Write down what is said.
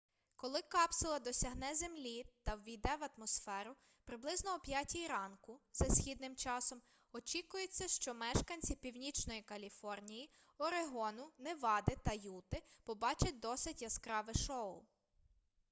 коли капсула досягне землі та ввійде в атмосферу приблизно о 5 ранку за східним часом очікується що мешканці північної каліфорнії орегону невади та юти побачать досить яскраве шоу